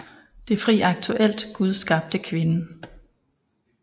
Det fri Aktuelt Gud skabte kvinden